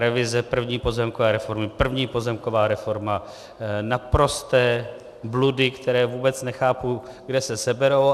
Revize první pozemkové reformy, první pozemková reforma - naprosté bludy, které vůbec nechápu, kde se seberou.